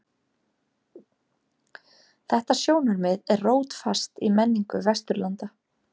Þetta sjónarmið er rótfast í menningu Vesturlanda.